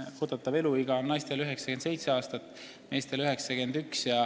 eeldatav eluiga naistel 97 aastat, meestel 91 aastat.